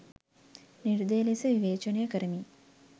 නිර්දය ලෙස විවේචනය කරමින්